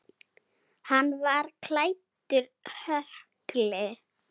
Hann var klæddur hökli.